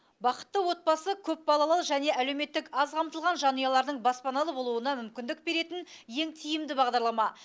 бақытты отбасы көпбалалы және әлеуметтік аз қамтылған жанұялардың баспаналы болуына мүмкіндік беретін ең тиімді бағдарлама